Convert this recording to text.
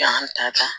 Yan ta